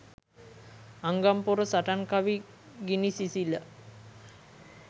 අංගම් පොර සටන් කවි ගිනි සිසිල